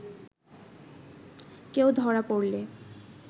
কেউ ধরা পড়লে